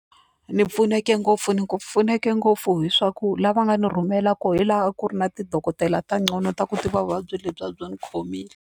Ni pfuneke ngopfu ni ku pfuneke ngopfu hi swa ku lava nga ni rhumela kona hilaha a ku ri na ti dokodela ta ngcono ta ku tiva vuvabyi lebyiya a byi ndzi khomile.